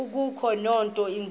akukho nto inzima